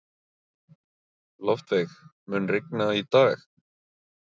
Loftveig, mun rigna í dag?